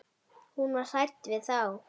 Hún var hrædd við þá.